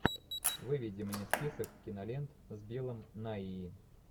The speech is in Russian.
выведи мне список кинолент с биллом найи